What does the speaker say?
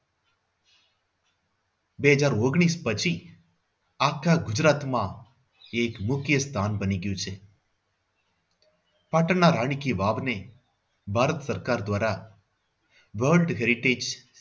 બે હજાર ઓન્ગ્લીશ પછી આખા ગુજરાતમાં એક મુખ્ય સ્થાન બની ગયું છે. પાટણના રાણી કી વાવને ભારત સરકાર દ્વારા world heritage